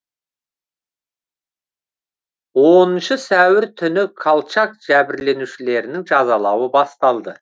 оныншы сәуір түні колчак жәбірленушілерінің жазалауы басталды